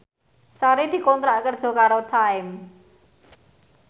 Sari dikontrak kerja karo Time